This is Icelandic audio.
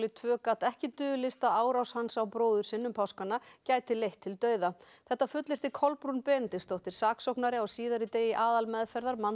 tvö gat ekki dulist að árás hans á bróður sinn um páskana gæti leitt til dauða þetta fullyrti Kolbrún Benediktsdóttir saksóknari á síðari degi aðalmeðferðar